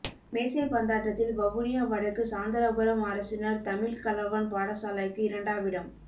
மேசைப்பந்தாட்டத்தில் வவுனியா வடக்கு சாந்தரபுரம் அரசினர் தமிழ் கலவன் பாடசாலைக்கு இரண்டாமிடம்